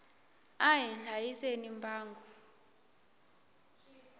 a hi hlayiseni mbango